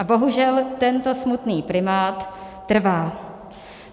A bohužel tento smutný primát trvá.